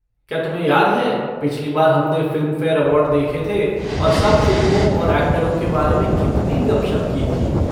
क्या तुम्हें याद है पिछली बार हमने फ़िल्मफ़ेयर अवार्ड देखे थे और सब फ़िल्मों और एक्टरों के बारे में कितनी गपशप की थी?